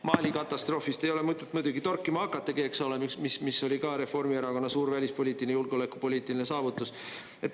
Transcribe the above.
Mali katastroofi ei ole mõtet muidugi torkima hakatagi, eks ole, mis oli ka Reformierakonna suur välispoliitiline, julgeolekupoliitiline saavutus.